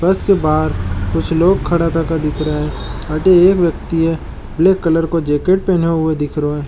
बस के बाहर कुछ लोग खड़ा थका दिख रहा है अटे एक व्यक्ति ब्लैक कलर का जैकेट पहने दिख रहो है।